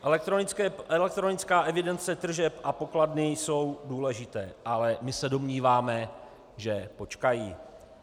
Elektronická evidence tržeb a pokladny jsou důležité, ale my se domníváme, že počkají.